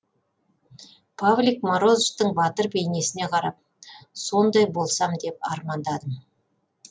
павлик морозовтың батыр бейнесіне қарап сондай болсам деп армандадым